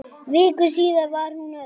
Viku síðar var hún öll.